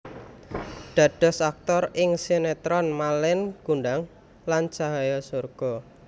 Dados aktor ing sinetron Malin Kundang lan Cahaya Surga